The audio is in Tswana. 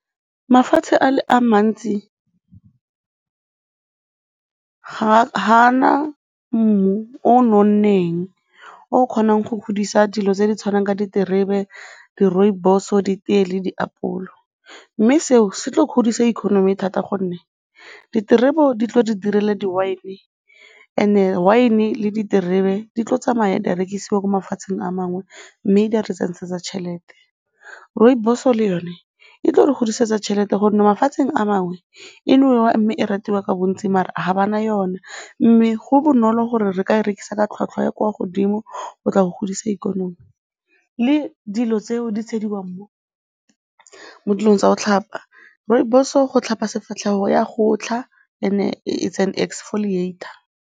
Mafatshe a mantsi ga a na mmu o nonneng o kgonang go godisa dilo tse di tshwanang ka diterebe, di-rooibos-o, ditee le diapole mme seo se tlo godisa economy thata gonne diterebe di tlo di direla di-wine and-e wine le diterebe di tlo tsamaya di a rekisiwa ko mafatsheng a mangwe mme di a re tšhelete. Rooibos-o le yone e tlo re godisetsa tšhelete gonne mafatsheng a mangwe e ratiwa ka bontsi mare ga ba na yona mme go bonolo gore re ka e rekisa ka tlhwatlhwa e e kwa godimo go tla go godisa ikonomi, le dilo tseo di tshediwang mo dilong tsa go tlhapa, rooibos-o go tlhapa sefatlhego e a gotlha, and-e it's an exfoliator.